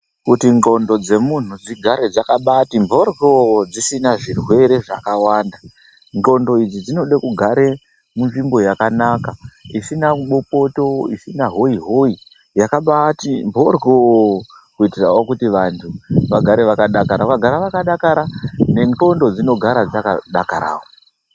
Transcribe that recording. Kuti ndxondo dzemunhu dzigare dzakabaati mboryooo, dzisina zvirwere zvakawanda, ndxondo idzi dzinode kugare munzvimbo yakanaka, isina bopoto, isina hoyi-hoyi, yakambaati mboryooo, kuitirawo kuti vantu, vagare vakadakara. Vakagara vakadakara, nendxondo dzinogara dzakadakarawo.